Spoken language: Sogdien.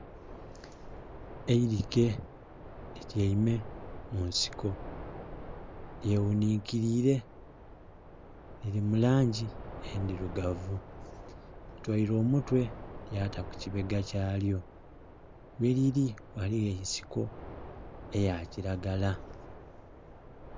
Eirike lityeime mu nsiko lye ghuninkilire, liri mu langi endhirugavu litoire omutwe lyata ku kibega kyalyo, gheliri ghaligho ensiko eya kiragala.